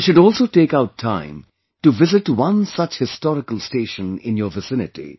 You should also take out time to visit one such historical station in your vicinity